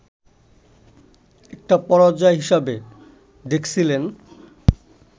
একটা পরাজয় হিসাবে দেখছিলেন